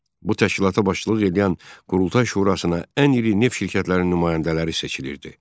Bu təşkilata başçılıq eləyən Qurultay şurasına ən iri neft şirkətlərinin nümayəndələri seçilirdi.